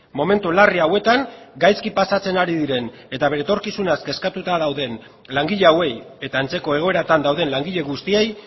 momentu larri hauetan gaizki pasatzen ari diren eta bere etorkizunaz kezkatuta dauden langile hauei eta antzeko egoeratan dauden langile guztiei